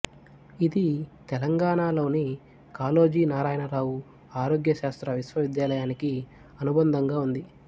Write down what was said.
ఇది తెలంగాణలోని కాళోజి నారాయణరావు ఆరోగ్య శాస్త్ర విశ్వవిద్యాలయానికి అనుబంధంగా ఉంది